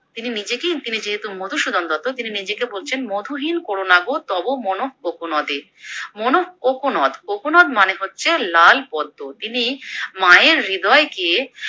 তিনি নীজেকেই তিনি যেহেতু মধুসূদন দত্ত তিনি নীজেকে বলছেন মধুহীন কোরো না গো তব মনঃ কোকোনদে মনঃ কোকোনদ কোকোনদ মানে হচ্ছে লাল পদ্ম, তিনি মায়ের হৃদয়কে